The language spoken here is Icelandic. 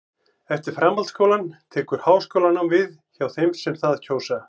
eftir framhaldsskólann tekur háskólanám við hjá þeim sem það kjósa